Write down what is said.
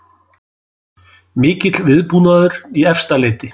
Mikill viðbúnaður í Efstaleiti